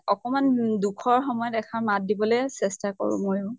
অকমান উম দুখৰ সময়ত এসাৰ মাত দিবলে চেষ্টা কৰো ময়ো।